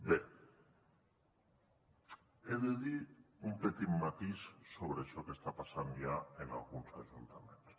bé he de dir un petit matís sobre això que està passant ja en alguns ajuntaments